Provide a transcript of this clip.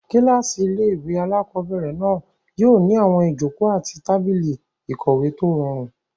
Kílásì ilé-ìwé alákobẹ̀rẹ̀ náà yóò ní àwọn ìjòkó àti tábìlì ìkọ̀wé tó rọrùn